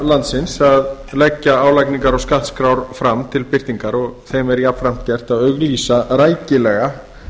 landsins að leggja álagningar og skattskrár fram til birtingar og þeim er jafnframt gert að auglýsa rækilega